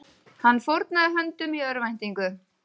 Hann fórnaði höndum í örvæntingu